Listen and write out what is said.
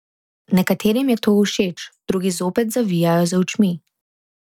Nekaterim je to všeč, drugi zopet zavijajo z očmi.